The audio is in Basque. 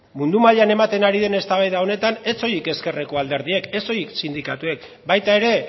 mundu mailan ematen ari den eztabaida honetan ez soilik ezkerreko alderdiek ez soilik sindikatuek baita ere